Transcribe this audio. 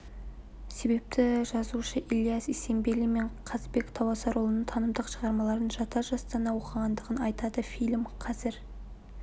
себепті жазушы ілияс есенберлин мен қазыбек тауасарұлының танымдық шығармаларын жата жастана оқығандығын айтады фильм қазір